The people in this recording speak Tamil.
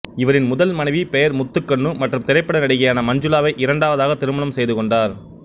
இவரின் முதல் மனைவி பெயர் முத்துக்கண்ணு மற்றும் திரைப்பட நடிகையான மஞ்சுளாவை இரண்டாவதாக திருமணம் செய்துக்கொண்டார்